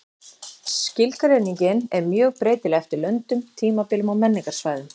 Skilgreiningin er mjög breytileg eftir löndum, tímabilum og menningarsvæðum.